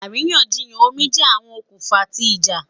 Àríyànjiyàn omi jẹ awọn okunfa ti ija